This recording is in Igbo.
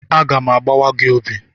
Aga m agbawa gị obi!